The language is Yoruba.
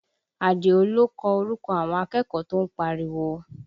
Adio ló kọ orúkọ àwọn akẹ́kọ̀ọ́ tó ń pariwo